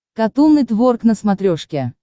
катун нетворк на смотрешке